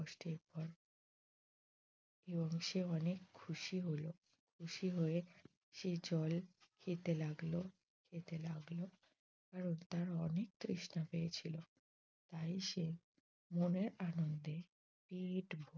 এবং সে অনেক খুশি হল। খুশি হয়ে সে জল খেতে লাগল খেতে লাগল কারণ তার অনেক তৃষ্ণা পেয়েছিল। তাই সে মনের আনন্দে পেট ভরে